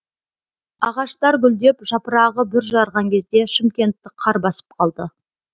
ағаштар гүлдеп жапырағы бүр жарған кезде шымкентті қар басып қалды